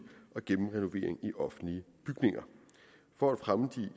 og gennemrenovering i offentlige bygninger for at fremme de